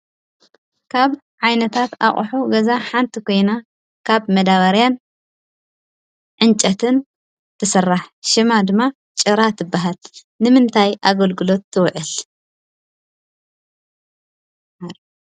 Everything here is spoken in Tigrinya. ካብ ዓይነታት ኣቕሑ ገዛ ሓንቲ ኮይነ ካብ መደባርያን ዕንጨይቲን ትስራሕ። ሹማ ድማ ጭራ ትብሃል። ንምንታይ ኣገልግሎት ትውዕል?